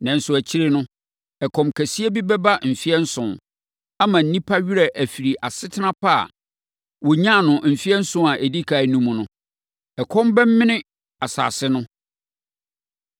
Nanso, akyire no, ɛkɔm kɛseɛ bi bɛba mfeɛ nson, ama nnipa werɛ afiri asetena pa a wɔnyaa no mfeɛ nson a ɛdi ɛkan no mu no. Ɛkɔm bɛmene asase no.